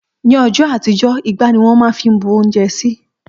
Ní õjõ àtíjö, ìgbá ní wõn má n fí bú ounjé sí